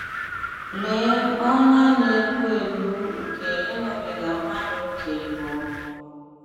Lee ọnyà na-egbu egbu nke ịṅụbiga mmanya ókè bụ!